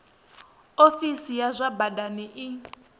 ofisi ya zwa badani i